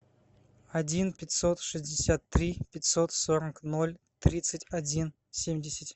один пятьсот шестьдесят три пятьсот сорок ноль тридцать один семьдесят